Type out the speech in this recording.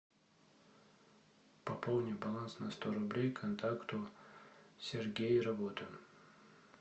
пополни баланс на сто рублей контакту сергей работа